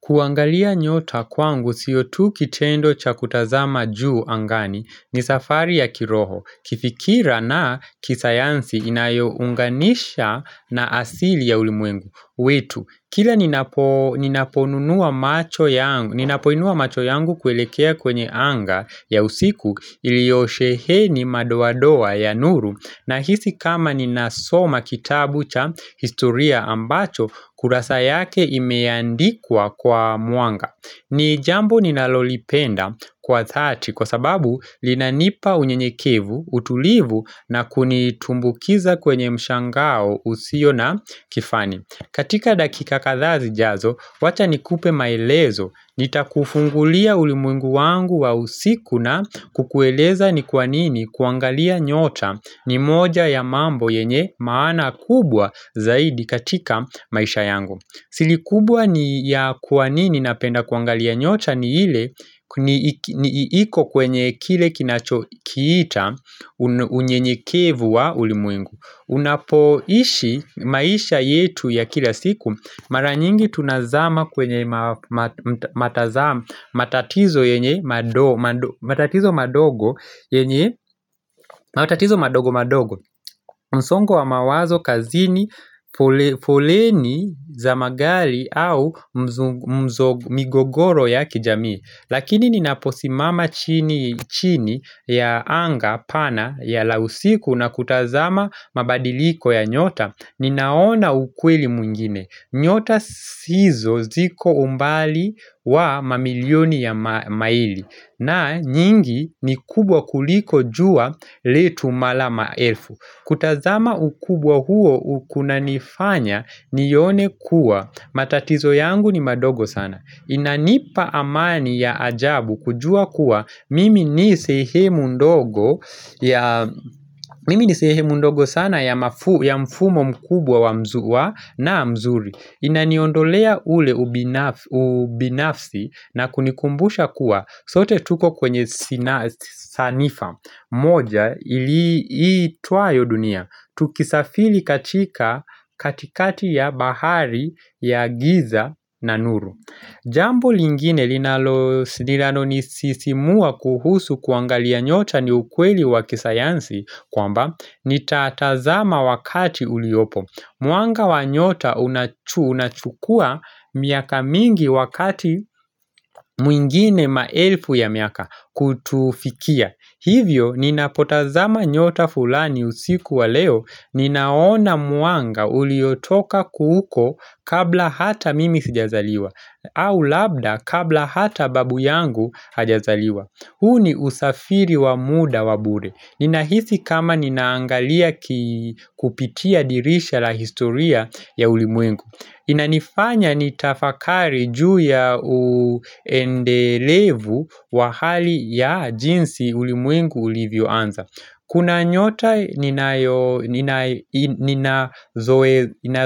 Kuangalia nyota kwangu siyotu kitendo cha kutazama juu angani ni safari ya kiroho. Kifikra na kisayansi inayo unganisha na asili ya ulimwengu. Kila ninapoinua macho yangu kuelekea kwenye anga ya usiku iliosheheni madoa doa ya nuru ninahisi kama ninasoma kitabu cha historia ambacho kurasa yake imeandikwa kwa mwanga. Ni jambo ninalolipenda kwa dhati kwa sababu linanipa unye nyekevu, utulivu na kunitumbukiza kwenye mshangao usio na kifani. Katika dakika kadhaa zijazo, wacha nikupe maelezo. Nita kufungulia ulimwengu wangu wa usiku na kukueleza ni kwanini kuangalia nyota ni moja ya mambo yenye maana kubwa zaidi katika maisha yangu. Siri kubwa ni ya kwa nini ninapenda kuangalia nyota ni ile ni iiko kwenye kile kinacho kiita unye nye kevu wa ulimwengu Unapoishi maisha yetu ya kila siku maranyingi tunazama kwenye matazamo matatizo madogo yenye, matatizo madogo madogo msongo wa mawazo, kazini, foleni, za magari au migogoro ya kijamii Lakini ninaposimama chini ya anga, pana, lausiku na kutazama mabadiliko ya nyota Ninaona ukweli mwingine nyota sizo ziko umbali wa mamilioni ya maili na nyingi ni kubwa kuliko jua letu mara maelfu kutazama ukubwa huo kunanifanya nione kuwa matatizo yangu ni madogo sana Inanipa amani ya ajabu kujua kuwa Mimi ni sehemu ndogo ndogo sana ya mfumo mkubwa na mzuri Inaniondolea ule ubinafsi na kunikumbusha kuwa sote tuko kwenye sanifa moja iitwayo i dunia Tukisafiri katika katikati ya bahari ya giza na nuru Jambo lingine linalo nisisimua kuhusu kuangalia nyota ni ukweli wakisayansi kwamba nitatazama wakati uliopo Mwanga wanyota unachukua miaka mingi wakati mwingine maelfu ya miaka kutufikia. Hivyo, ninapotazama nyota fulani usiku wa leo, ninaona mwanga uliotoka kuhuko kabla hata mimi sijazaliwa, au labda kabla hata babu yangu hajazaliwa. Huu ni usafiri wa muda wa bure. Ninahisi kama ninaangalia kupitia dirisha la historia ya ulimwengu. Inanifanya nitafakari juu ya uendelevu wa hali ya jinsi ulimwengu ulivyo anza. Kuna nyota nina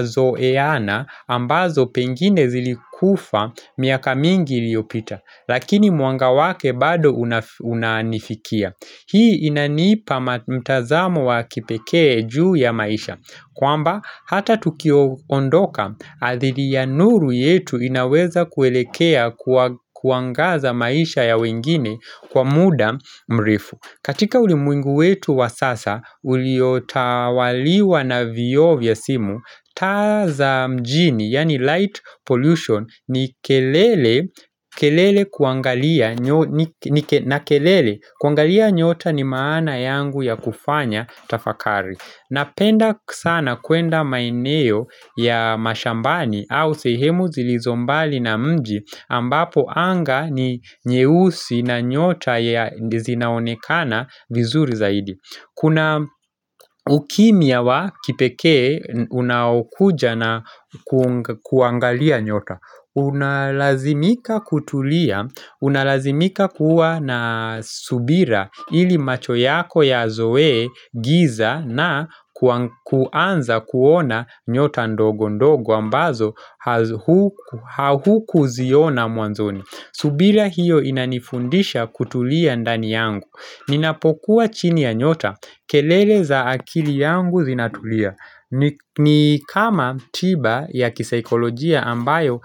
zoeana ambazo pengine zilikufa miaka mingi iliyopita Lakini mwanga wake bado unanifikia Hii inanipa mtazamo wa kipekee juu ya maisha kwamba hata tukiondoka adhili ya nuru yetu inaweza kuelekea kuangaza maisha ya wengine kwa muda mrefu katika ulimwengu wetu wa sasa uliotawaliwa na vioo vya simu taaza mjini yani light pollution na kelele kuangalia nyota ni maana yangu ya kufanya tafakari Napenda sana kwenda maeneo ya mashambani au sehemu zilizombali na mji ambapo anga ni nyeusi na nyota zinaonekana vizuri zaidi. Kuna ukimya wa kipekee unakuja na kuangalia nyota Unalazimika kutulia, unalazimika kuwa na subira ili macho yako ya zoe giza na kuanza kuona nyota ndogo ndogo ambazo ha hukuziona mwanzoni subira hiyo inanifundisha kutulia ndani yangu Ninapokuwa chini ya nyota, kelele za akili yangu zinatulia ni kama tiba ya kisaikolojia ambayo.